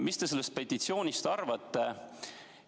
Mida te sellest petitsioonist arvate?